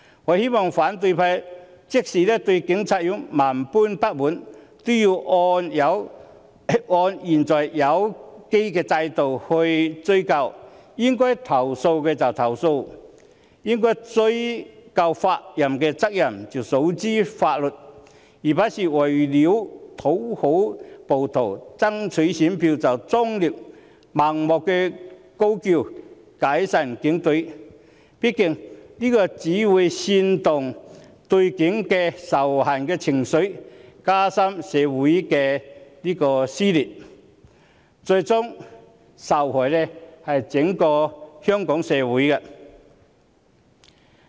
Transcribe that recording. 我希望反對派即使對警察有萬般不滿，也要按現有機制追究，應該投訴便投訴，應追究法律責任，便訴諸於法律，而不是為了討好暴徒，爭取選票，終日盲目高叫解散警隊，畢竟這只會煽動對警察的仇恨情緒，加深社會的撕裂，最終受害的是整個香港社會。